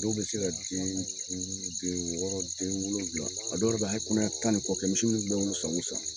Dɔw be se ka den duuru, den wɔɔrɔ, den wolonwula. A dɔw yɛrɛ be hali kɔnɔya tan ni kɔ kɛ, misi san o san.